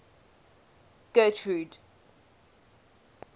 getrude